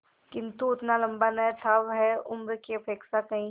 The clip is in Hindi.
किंतु उतना लंबा न था वह उम्र की अपेक्षा कहीं